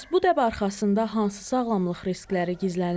Bəs bu dəb arxasında hansı sağlamlıq riskləri gizlənir?